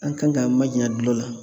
An kan k'an majanya dulɔ la.